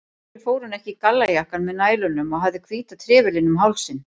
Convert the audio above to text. Af hverju fór hún ekki í gallajakkann með nælunum og hafði hvíta trefilinn um hálsinn?